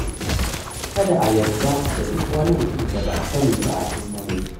Kada a yarda da duk wani mutum da ba a sani ba a intanet.